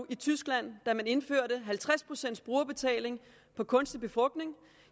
i tyskland da man indførte halvtreds procent brugerbetaling på kunstig befrugtning